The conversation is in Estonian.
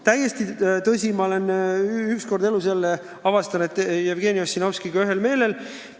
Täiesti tõsi: ma olen jälle avastanud, et olen Jevgeni Ossinovskiga ühel meelel.